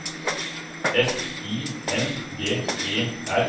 F I N G E R